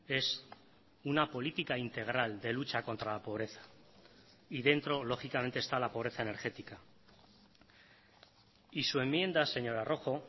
es una política integral de lucha contra la pobreza y dentro lógicamente está la pobreza energética y su enmienda señora rojo